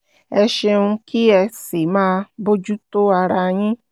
ẹ ṣeun kí ẹ sì máa bójú tó ara yín